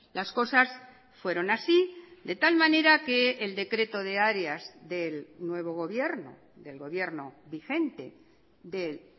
las cosas fueron así de tal manera que el decreto de áreas del nuevo gobierno del gobierno vigente del